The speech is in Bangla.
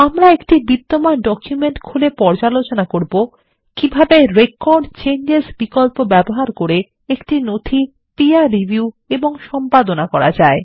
আমরা একটি বিদ্যমান ডকুমেন্ট খুলে পর্যালোচনা করব কিভাবে রেকর্ড চেঞ্জেস বিকল্প ব্যবহার করে একটি নথি পীর রিভিউ এবং সম্পাদনা করা যায়